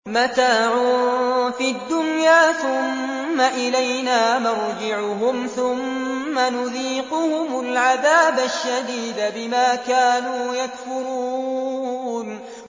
مَتَاعٌ فِي الدُّنْيَا ثُمَّ إِلَيْنَا مَرْجِعُهُمْ ثُمَّ نُذِيقُهُمُ الْعَذَابَ الشَّدِيدَ بِمَا كَانُوا يَكْفُرُونَ